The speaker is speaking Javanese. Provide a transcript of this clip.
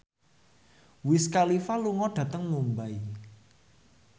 Wiz Khalifa lunga dhateng Mumbai